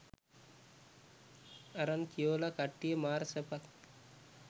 අරන් කියොලා කට්ටිය මාර සැපක්